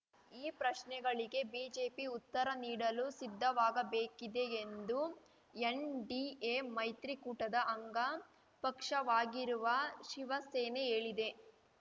ಈ ಪ್ರಶ್ನೆಗಳಿಗೆ ಬಿಜೆಪಿ ಉತ್ತರ ನೀಡಲು ಸಿದ್ಧವಾಗಬೇಕಿದೆ ಎಂದು ಎನ್‌ಡಿಎ ಮೈತ್ರಿಕೂಟದ ಅಂಗ ಪಕ್ಷವಾಗಿರುವ ಶಿವಸೇನೆ ಹೇಳಿದೆ